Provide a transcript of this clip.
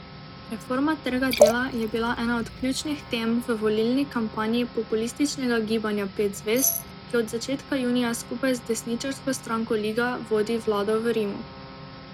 Reforma trga dela je bila ena od ključnih tem v volilni kampanji populističnega Gibanja pet zvezd, ki od začetka junija skupaj z desničarsko stranko Liga vodi vlado v Rimu.